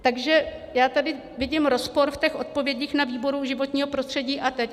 Takže já tady vidím rozpor v těch odpovědích na výboru životního prostředí a teď.